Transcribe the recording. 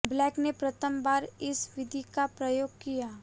black ने प्रथम बार इस विधि का प्रयोग किया